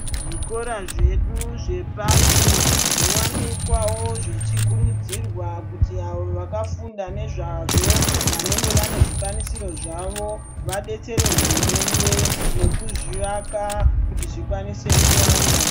Zvikora zvedu zvepashi zvowanikwawo zvechikurudzirwa kuti avo vakafunda nezvazvo vanenge vane zvikwanisiro zvavo vadetsere hurumende nekuzvivaka kuti zvikwanise kuwanda.